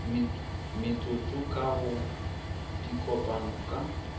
metsotso ka go dikopano ka